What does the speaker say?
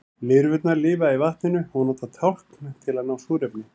lirfurnar lifa í vatninu og nota tálkn til að ná í súrefni